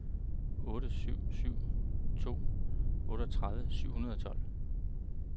otte syv syv to otteogtredive syv hundrede og tolv